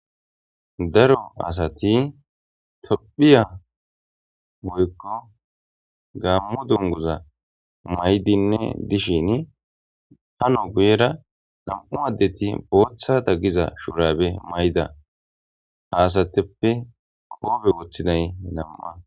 Daro asathi toophphiya woykko gaammo dungguzzaa maayidinne dishiini hano guyeera nam7u addethi booththara diza shuraabe mayida asatheppe qoone woththiday nam7a.